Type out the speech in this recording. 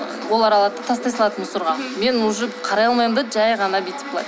олар алады да тастай салады мусорға мен уже қарай алмаймын да жай ғана бүйтіп былай